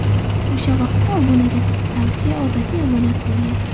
O‘sha vaqtda obunaga tavsiya odatiy amaliyot bo‘lgan.